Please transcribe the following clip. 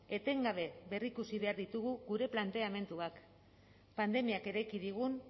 etengabe berrikusi behar ditugu gure planteamenduak pandemiak eraiki digun